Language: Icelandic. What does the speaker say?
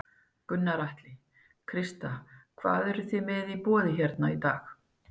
Gunnar Atli: Krista, hvað eru þið með í boði hérna í dag?